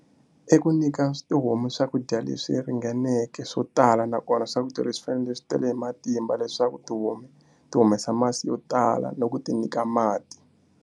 I ku nyika tihomu swakudya leswi ringaneke swo tala nakona swakudya leswi swi fanele swi tele hi matimba leswaku tihomu ti humesa masi yo tala na u ti nyika mati.